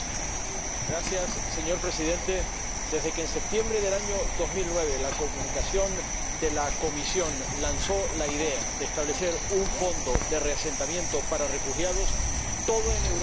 Señor Presidente, desde que, en septiembre de 2009, la Comunicación de la Comisión lanzó la idea de establecer un fondo de reasentamiento para refugiados, todo en Europa ha estado en crisis.